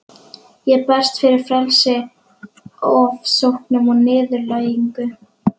Ég berst fyrir frelsi frá ofsóknum og niðurlægingu.